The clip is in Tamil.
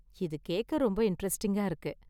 இது கேக்க ரொம்ப இண்டரெஸ்ட்டிங்கா இருக்கு.